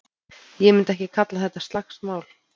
Ég myndi ekki kalla þetta slagsmál.